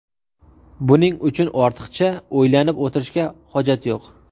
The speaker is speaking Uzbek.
Buning uchun ortiqcha o‘ylanib o‘tirishga hojat yo‘q.